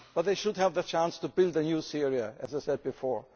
They should have the chance to build a new Syria, as I said before.